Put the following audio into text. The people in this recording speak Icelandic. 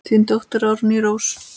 Þín dóttir Árný Rósa.